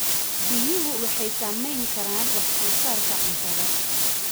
Biyuhu waxay saamayn karaan wax soo saarka cuntada.